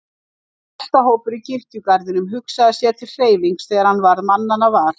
Álftahópur í kirkjugarðinum hugsaði sér til hreyfings þegar hann varð mannanna var.